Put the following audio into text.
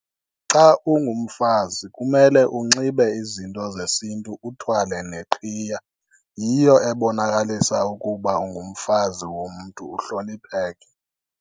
Xa ungumfazi kumele unxibe izinto zesintu uthwale neqhiya, yiyo ebonakalisa ukuba ungumfazi womntu uhlonipheke.